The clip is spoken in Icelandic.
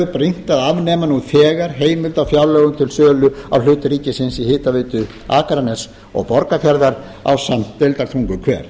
brýnt af afnema nú þegar heimild á fjárlögum til sölu á hlut ríkisins í hitaveitu akraness og borgarfjarðar ásamt deildartunguhver